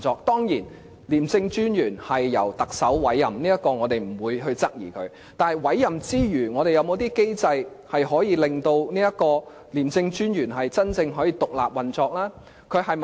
當然，廉政專員由特首委任，這點我們不會質疑，但委任之餘，我們是否應設有一些機制，令廉署能夠真正獨立運作呢？